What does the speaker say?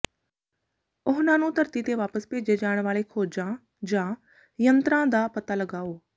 ਉਹਨਾਂ ਨੂੰ ਧਰਤੀ ਤੇ ਵਾਪਸ ਭੇਜੇ ਜਾਣ ਵਾਲੇ ਖੋਜਾਂ ਜਾਂ ਯੰਤਰਾਂ ਦਾ ਪਤਾ ਲਗਾਓ